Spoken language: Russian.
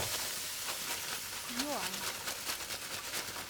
юань